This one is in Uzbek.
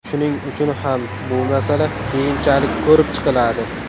Shuning uchun ham bu masala keyinchalik ko‘rib chiqiladi.